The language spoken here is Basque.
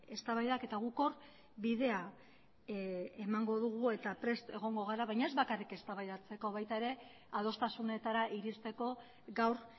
eztabaidak eta guk hor bidea emango dugu eta prest egongo gara baina ez bakarrik eztabaidatzeko baita ere adostasunetara iristeko gaur